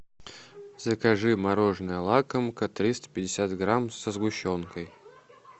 закажи мороженое лакомка триста пятьдесят грамм со сгущенкой